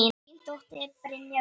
Þín dóttir, Brynja Rut.